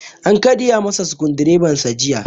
An karya masa sukudireban jiya